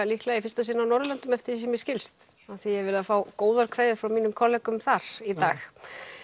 líklega í fyrsta sinn á Norðurlöndum eftir því sem mér skilst af því ég hef verið að fá góðar kveðjur frá mínum kollegum þar í dag